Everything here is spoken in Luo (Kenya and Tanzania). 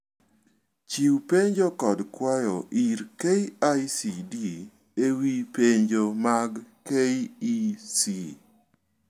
Chiu penjo kod kwayo ir KICD ewii penjo mag KEC.